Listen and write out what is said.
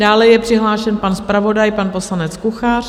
Dále je přihlášen pan zpravodaj, pan poslanec Kuchař.